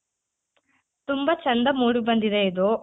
ತುಂಬ ಚೆಂದ ಮೂಡಿ ಬಂದಿದೆ ಇದು.